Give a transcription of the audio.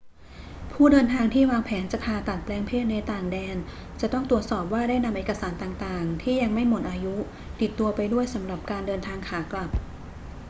ผู้เดินทางที่วางแผนจะผ่าตัดแปลงเพศในต่างแดนจะต้องตรวจสอบว่าได้นำเอกสารต่าง ๆ ที่ยังไม่หมดอายุติดตัวไปด้วยสำหรับการเดินทางขากลับ